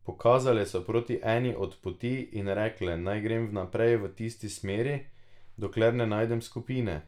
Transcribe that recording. Pokazale so proti eni od poti in rekle, naj grem naprej v tisti smeri, dokler ne najdem skupine.